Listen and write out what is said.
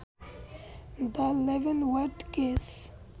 the Leavenworth case